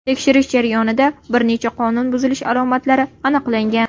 Tekshirish jarayonida bir necha qonun buzilishi alomatlari aniqlangan.